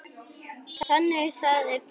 Þannig að það er plús.